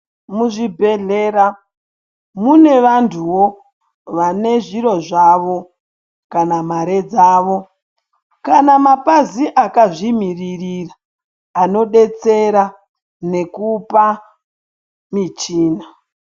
Muzvibhedhlera mune vantuwo ,vane zviro zvavo, kana mare dzavo, kana mapazi akazvimiririra, anodetsera nekupa michina.